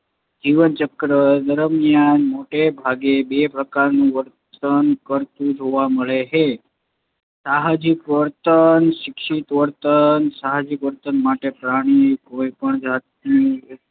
જીવન ચક્ર દરમ્યાન મૉટે ભાગે બે પ્રકાર નું વર્તન કરતુ જોવા મળે છે. સાહજિક વર્તન શિક્ષિત વર્તન સાહજિક વર્તન માટે પ્રાણીને કોઇ પણ જાતનું ઔપ